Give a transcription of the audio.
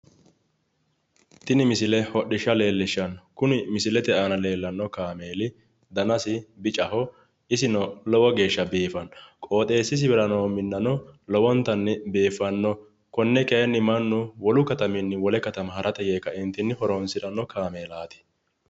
tini misile hodhishsha leellishshanno kuni misilete aana leellanno kaameeli danasi bicaho isino lowo geeshsha biifanno qooxeessisirano noo minnano lowontanni biiffanno konne kayiinnni mannu wolu kataminni wole katama harate yee kaeentinni horonsiranno.